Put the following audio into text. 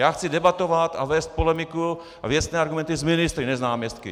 Já chce debatovat a vést polemiku a věcné argumenty s ministry, ne s náměstky.